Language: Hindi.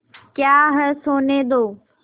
क्या है सोने दो